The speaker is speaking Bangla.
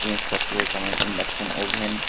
জিনিসপত্র রয়েছে যেমন ইন্ডাকশন ওভেন --